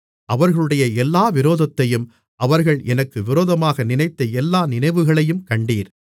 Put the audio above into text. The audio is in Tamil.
அவர்களுடைய எல்லா விரோதத்தையும் அவர்கள் எனக்கு விரோதமாக நினைத்த எல்லா நினைவுகளையும் கண்டீர்